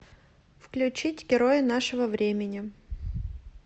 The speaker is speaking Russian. включить герои нашего времени